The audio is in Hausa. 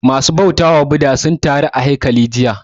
Ma su bautawa Bhudha sun taru a haikali jiya